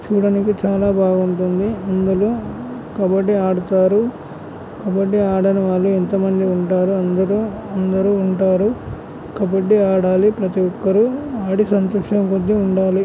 చూడనికి చాలా బాగుంటుంది అందరూ కబడ్డీ ఆడతారు కబడ్డీ ఆడని వాళ్ళు ఎంత మంది ఉంటారు అందరూ అందరూ ఉంటారు. కబడ్డీ ఆడాలి ప్రతి ఒక్కరూ ఆడి సంతోషంగా ఉండాలి.